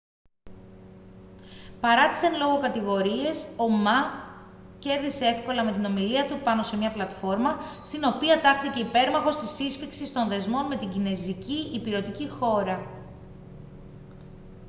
παρά τις εν λόγω κατηγορίες ο μα κέρδισε έυκολα με την ομιλία του πάνω σε μια πλατφόρμα στην οποία τάχθηκε υπέρμαχος της σύσφιξης των δεσμών με την κινεζική ηπειρωτική χώρα